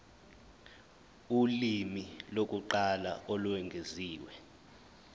ulimi lokuqala olwengeziwe